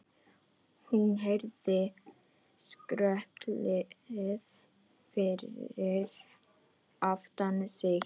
Hún heyrði skröltið fyrir aftan sig.